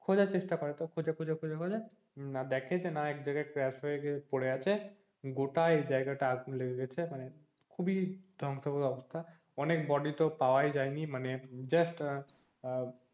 খোঁজার চেষ্টা করে তো খোঁজে খোঁজে খোঁজে খোঁজে দেখে যে না একজায়গায় crash হয়ে পরে আছে গোটাই জায়গাটা আগুন লেগে গেছে মানে খুবি ধ্বংশ গ্রস্ত অবস্থা অনেক body তো পাওয়াই যায়নি মানে just আহ আহ